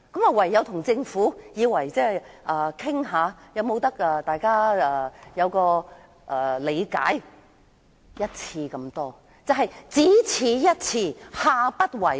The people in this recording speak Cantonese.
我唯有與政府討論，看看雙方可否同意這次做法是只此一次，下不為例。